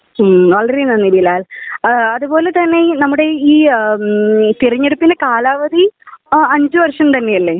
മ്ഹ് വളരെ നന്ദി ബിലാൽ. അത്പോലെ തന്നെ നമ്മുടെ ഈ തിരഞ്ഞെടുപ്പിന്റെ കാലാവധി അഞ്ചു വർഷം തന്നെ അല്ലേ